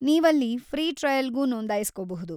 ನೀವಲ್ಲಿ ಫ್ರೀ ಟ್ರಯಲ್‌ಗೂ ನೋಂದಾಯಿಸ್ಕೋಬಹುದು.